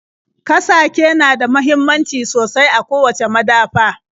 Kasake na da muhimmanci sosai a kowacce madafa.